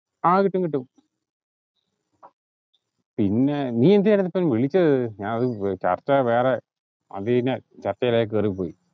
ആഹ് കിട്ടും കിട്ടും പിന്നെ നീ എന്തിനാ ഇപ്പം വിളിച്ചത് ഞാൻ ഏർ ചർച്ച വേറെ അത് ന്നേ ചർച്ചയിലേക് കേറി പോയി